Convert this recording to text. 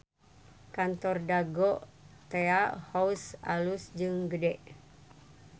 Kantor Dago Tea House alus jeung gede